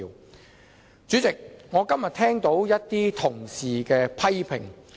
代理主席，今天我聽到同事的一些批評。